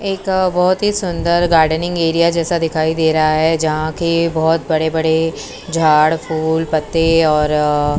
एक बहुत ही सुंदर गार्डनिंग एरिया जैसा दिखाई दे रहा हैं जहाँ के बहुत बड़े-बड़े झाड़ फूल पत्ते और र अ --